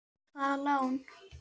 Hvaða lán?